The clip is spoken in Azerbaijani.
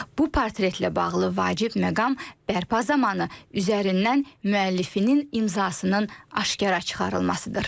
Bu portretlə bağlı vacib məqam bərpa zamanı üzərindən müəllifinin imzasının aşkara çıxarılmasıdır.